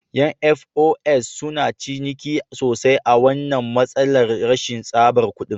Ƴan "FOS" suna ciniki sosai a wannan matsalar rashin tsabar kuɗin